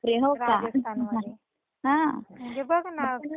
म्हणजे बघ कधी काय होईल काही सांगताच येत नाही.